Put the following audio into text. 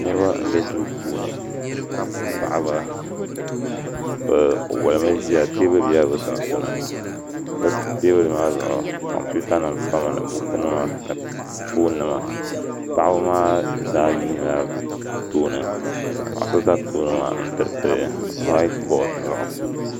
Niraba n bɛ duu puuni paɣaba bi wolmi ʒiya teebuli bɛla bi sunsuuni bi teebuli maa zuɣu kompiuta nim pami ni buku nima ni foon nima paɣaba maa zaa yuundila bi tooni ka paɣa so ʒɛ tooni maa n tiriti whaait bood zuɣu